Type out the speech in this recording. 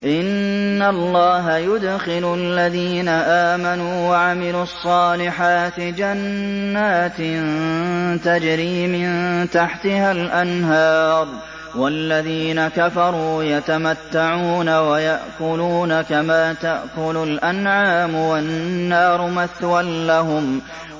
إِنَّ اللَّهَ يُدْخِلُ الَّذِينَ آمَنُوا وَعَمِلُوا الصَّالِحَاتِ جَنَّاتٍ تَجْرِي مِن تَحْتِهَا الْأَنْهَارُ ۖ وَالَّذِينَ كَفَرُوا يَتَمَتَّعُونَ وَيَأْكُلُونَ كَمَا تَأْكُلُ الْأَنْعَامُ وَالنَّارُ مَثْوًى لَّهُمْ